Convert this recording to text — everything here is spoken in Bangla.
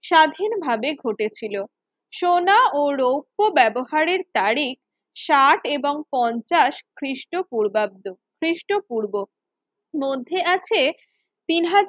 স্বাধীনভাবে ঘটেছিল সোনা ও রৌপ্য ব্যবহারের তারিখ ষাট এবং পঞ্চাশ খ্রিস্টপূর্বাব্দ খ্রিস্টপূর্ব মধ্যে আছে তিন হাজার